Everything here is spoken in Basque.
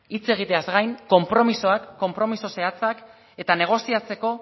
hitz egiteaz gain konpromisoa konpromiso zehatzak eta negoziatzeko